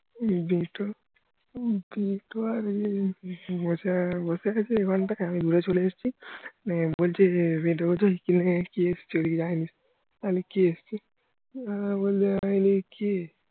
বসে আছে ওখান থেকে আমি উড়ে চলে এসেছি মানে বলছে যে কি লাগে কি চলে মানে কে এসেছে